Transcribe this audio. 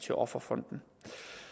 til offerfonden